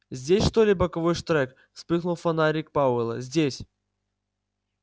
здесь что ли боковой штрек вспыхнул фонарик пауэлла здесь